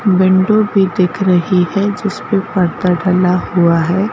Window भी दिख रही है जिस परदा डला हुआ है।